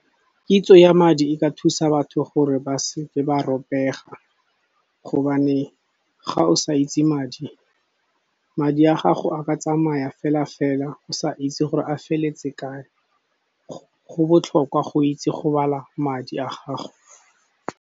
Kitso ya madi e ka thusa batho gore ba seke ba ropega, gobane ga o sa itse madi, madi a gago a ka tsamaya fela-fela o sa itse gore a feletse kae. Go botlhokwa go itse go bala madi a gago.